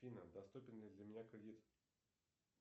афина доступен ли для меня кредит